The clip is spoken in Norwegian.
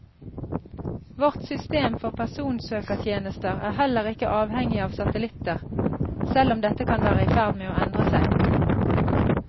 Vårt system for personsøkertjenester er heller ikke avhengig av satellitter, selv om dette kan være i ferd med å endre seg.